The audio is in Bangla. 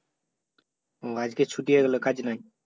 ও আজকে ছুটি হয়ে গেল কাজ নাই?